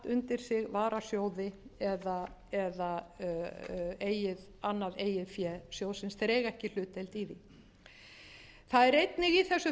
undir sig varasjóði eða annað eigið fé sjóðsins þeir eiga ekki hlutdeild í því það eru einnig